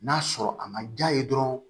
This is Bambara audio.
N'a sɔrɔ a ma ja ye dɔrɔn